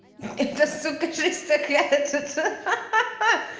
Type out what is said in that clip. это сука шистокряцица ха-ха-ха